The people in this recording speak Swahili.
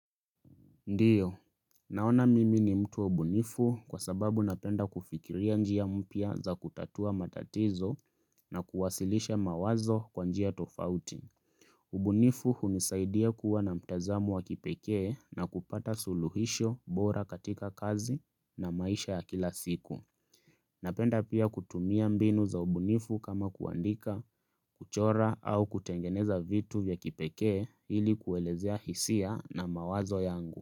Ndiyo, naona mimi ni mtu bunifu kwa sababu napenda kufikiria njia mpya za kutatua matatizo na kuwasilisha mawazo kwa njia tofauti. Ubunifu hunisaidia kuwa na mtazamo wa kipekee na kupata suluhisho bora katika kazi na maisha ya kila siku. Napenda pia kutumia mbinu za ubunifu kama kuandika, kuchora au kutengeneza vitu vya kipekee ili kuelezea hisia na mawazo yangu.